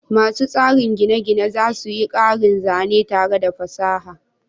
Masu tsara gine-gine za su yi ƙarin zane tare da fasaha.